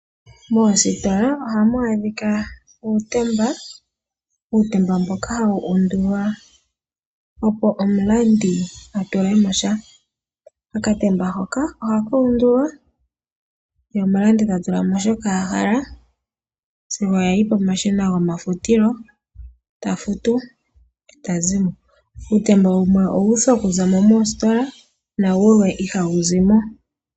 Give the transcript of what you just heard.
Moositola ohamu adhika uutemba. Uutemba mboka hawu undulwa, opo omulandi a tule mo sha. Okatemba hoka ohaka undulwa ye omulandi ta tula mo shoka a hala sigo ya yi pomashina gomafutilo ta futu e ta zi mo. Uutemba wumwe owu uthwa okuza mo moositola nawumwe ihawu zi mo.